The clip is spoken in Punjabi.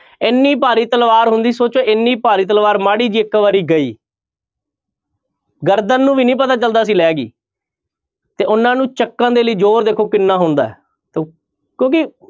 ਇੰਨੀ ਭਾਰੀ ਤਲਵਾਰ ਹੁੰਦੀ ਸੋਚੋ ਇੰਨੀ ਭਾਰੀ ਤਲਵਾਰ ਮਾੜੀ ਜਿਹੀ ਇੱਕ ਵਾਰੀ ਗਈ ਗਰਦਨ ਨੂੰ ਵੀ ਨੀ ਪਤਾ ਚੱਲਦਾ ਸੀ ਲਹਿ ਗਈ ਤੇ ਉਹਨਾਂ ਨੂੰ ਚੁੱਕਣ ਦੇ ਲਈ ਜ਼ੋਰ ਦੇਖੋ ਕਿੰਨਾ ਹੁੰਦਾ ਹੈ ਕਿਉਂਕਿ